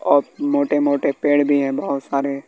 अ मोटे मोटे पेड़ भी है बहोत सारे--